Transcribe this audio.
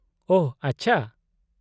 -ᱳᱦ , ᱟᱪᱪᱷᱟ ᱾